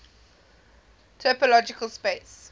topological space